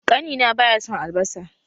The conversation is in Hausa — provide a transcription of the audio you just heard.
Ƙani na baya son albasa